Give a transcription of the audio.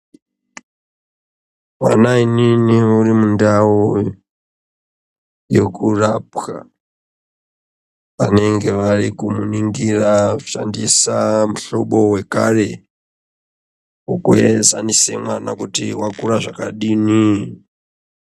Va mainini uri mundau yeku rapwa anenge vari kumu ningira achi shandisa mu hlobo wekare weku enzanisa mwana kuti wakura zvakadini.